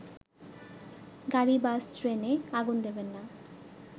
গাড়ি-বাস-ট্রেনে আগুন দেবেন না